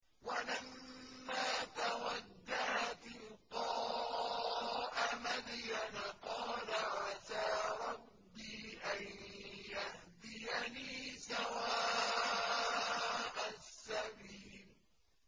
وَلَمَّا تَوَجَّهَ تِلْقَاءَ مَدْيَنَ قَالَ عَسَىٰ رَبِّي أَن يَهْدِيَنِي سَوَاءَ السَّبِيلِ